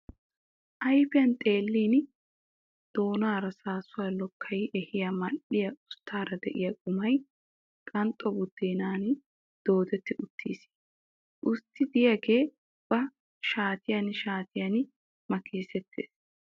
Ayfiyan xeellin doonaara saassuwa lokkayi ehiya mal"iya usttaara de'iya qumay qanxxo buddeenan doodetti uttiis. Ussti diyagee ba shaatiyan shaatiyan makkisettis.